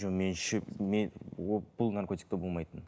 жоқ мен шөп бұл наркотикте болмайтын